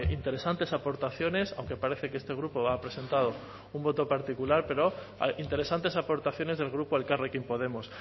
interesantes aportaciones aunque parece que este grupo ha presentado un voto particular pero interesantes aportaciones del grupo elkarrekin podemos